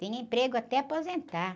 Tinha emprego até aposentar.